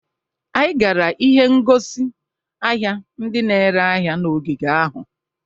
Anyị gara ihe ngosi ahia ndị na-ere ahịa n'ogige ahụ.